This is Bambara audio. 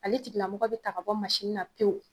Ale tigila mɔgɔ be ta ka bɔ na pewu.